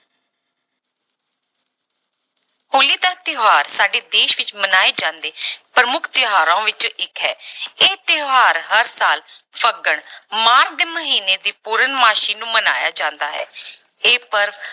ਹੋਲੀ ਦਾ ਤਿਉਹਾਰ ਸਾਡੇ ਦੇਸ ਵਿੱਚ ਮਨਾਏ ਜਾਂਦੇ ਪ੍ਰਮੁੱਖ ਤਿਉਹਾਰਾਂ ਵਿੱਚੋਂ ਇੱਕ ਹੈ ਇਹ ਤਿਉਹਾਰ ਹਰ ਸਾਲ ਫੱਗਣ ਮਾਘ ਦੇ ਮਹੀਨੇ ਦੀ ਪੂਰਨਮਾਸੀ ਨੂੰ ਮਨਾਇਆ ਜਾਂਦਾ ਹੈ ਇਹ ਪਰਵ